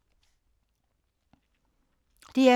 DR2